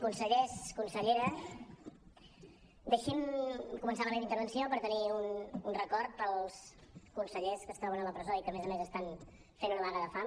consellers consellera deixin me començar la meva intervenció per tenir un record pels consellers que es troben a la presó i que a més a més estan fent una vaga de fam